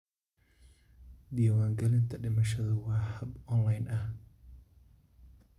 Diiwaangelinta dhimashadu waa hab online ah.